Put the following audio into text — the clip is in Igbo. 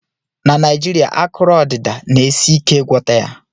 Na Naijirịa, akụrụ odịda na-esi ike ịgwọta ya